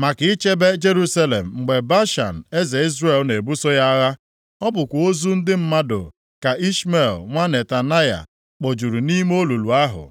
maka ichebe Jerusalem mgbe Baasha eze Izrel na-ebuso ya agha. Ọ bụkwa ozu ndị mmadụ ka Ishmel, nwa Netanaya kpojuru nʼime olulu ahụ.